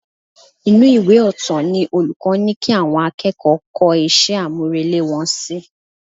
Inú ìwé ọ̀tọ̀ ni olùkọ́ ní kí àwọn akẹ́kọ̀ọ́ kọ iṣẹ́ àmúrelé wọn sí